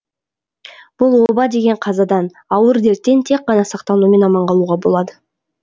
бұл оба деген қазадан ауыр дерттен тек қана сақтанумен аман қалуға болады